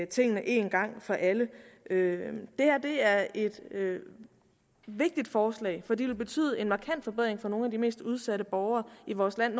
tingene en gang for alle det her er et vigtigt forslag for det vil betyde en markant forbedring for nogle af de mest udsatte borgere i vores land